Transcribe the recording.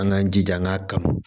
An k'an jija an k'a kanu